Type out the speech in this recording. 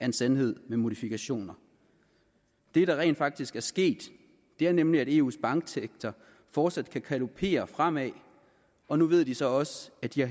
en sandhed med modifikationer det der rent faktisk er sket er nemlig at eus banksektor fortsat kan galopere fremad og nu ved de så også at de